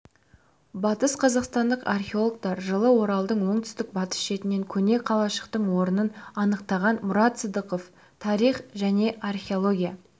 батыс қазақстандық археологтар жылы оралдың оңтүстік-батыс шетінен көне қалашықтың орнын анықтаған мұрат сыдықов тарих және археология